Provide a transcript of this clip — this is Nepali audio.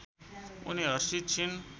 उनी हर्षित छिन्